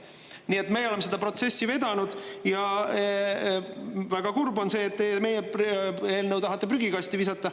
Nii et meie oleme seda protsessi vedanud ja väga kurb on, et teie tahate meie eelnõu prügikasti visata.